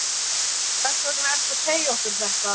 Hvers vegna ertu að segja okkur þetta?